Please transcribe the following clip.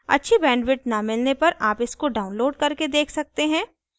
अच्छी बैंडविड्थ न मिलने पर आप इसको डाउनलोड करके देख सकते हैं